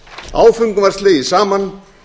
áföngum var slegið saman